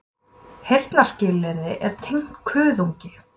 Heyrnarskynið er tengt kuðungi.